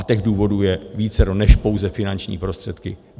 A těch důvodů je vícero než pouze finanční prostředky.